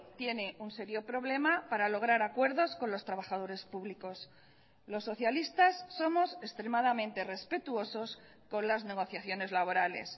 tiene un serio problema para lograr acuerdos con los trabajadores públicos los socialistas somos extremadamente respetuosos con las negociaciones laborales